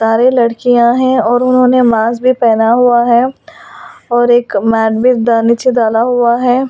सारे लड़कियां हैं और उन्होंने मास्क भी पहना हुआ है और एक मैट भी नीचे डाला हुआ है।